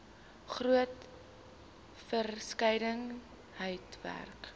groot verskeidenheid werk